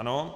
Ano.